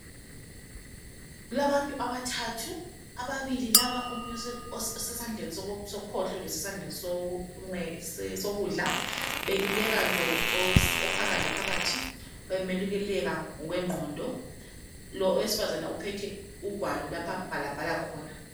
Kulabantu abathathu ababilibl laba ,kulomunye osesandleni sokhohlo losesandleni sokudla beluleka lo ophakathi laphathi ,bemeluleka ngokwengqondo, owesifazana uphethe ugwalo lapho abhalabhala khona.